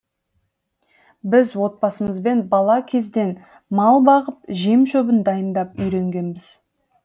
біз отбасымызбен бала кезден мал бағып жем шөбін дайындап үйренгенбіз